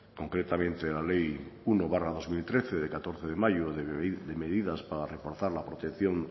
concretamente la ley uno barra dos mil trece de catorce de mayo de medidas para reforzar la protección